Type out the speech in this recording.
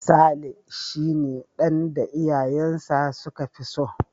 Saleh shi ne dan da iyayensa su ka fi so.